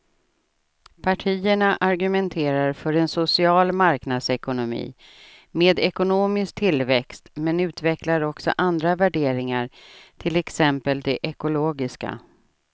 Partierna argumenterar för en social marknadsekonomi med ekonomisk tillväxt men utvecklar också andra värderingar, till exempel de ekologiska.